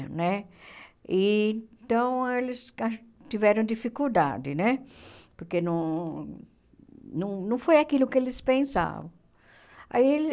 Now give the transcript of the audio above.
Né? Então, eles ah tiveram dificuldade né, porque não não não foi aquilo que eles pensavam. Aí eles